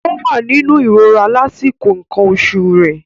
Ó wà nínú ìrora lásìkò nǹkan oṣù rẹ̀.